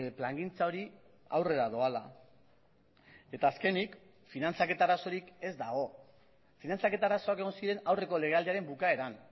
plangintza hori aurrera doala eta azkenik finantzaketa arazorik ez dago finantzaketa arazoak egon ziren aurreko legealdiaren bukaeran